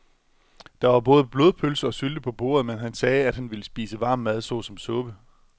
Der var både blodpølse og sylte på bordet, men han sagde, at han bare ville spise varm mad såsom suppe.